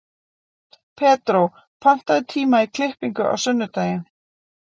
Pedró, pantaðu tíma í klippingu á sunnudaginn.